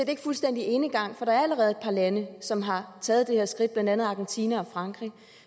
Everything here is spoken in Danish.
ikke fuldstændig enegang for der er allerede et par lande som har taget det her skridt blandt andet argentina og frankrig